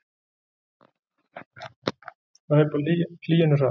Hvað hlaupa hýenur hratt?